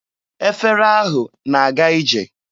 Efere ahụ na-aga ije.